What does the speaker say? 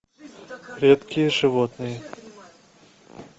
редкие животные